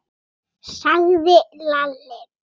sagði Lalli.